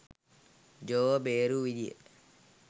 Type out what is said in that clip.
ජෝ ව බේරුව විදිය.